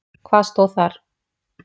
Hvað stóð þar?